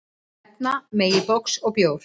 Nefna megi box og bjór.